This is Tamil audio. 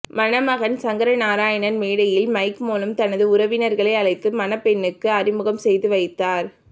மணமகன் சங்கரநாராயணன் மேடையில் மைக் மூலம் தனது உறவினர்களை அழைத்து மணப்பெண்ணுக்கு அறிமுகம் செய்து வைத்தார்